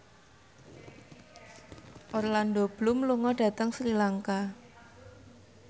Orlando Bloom lunga dhateng Sri Lanka